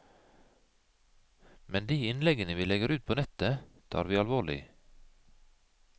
Men de innleggene vi legger ut på nettet, tar vi alvorlig.